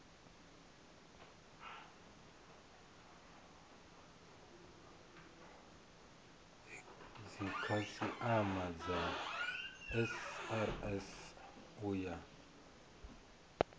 dzikhasiama dza srsa u ya